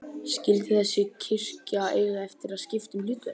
Skyldi þessi kirkja eiga eftir að skipta um hlutverk?